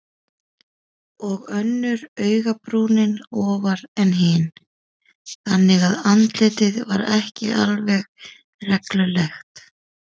Og önnur augabrúnin ofar en hin, þannig að andlitið var ekki alveg reglulegt.